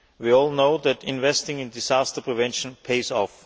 We all know that investing in disaster prevention pays off.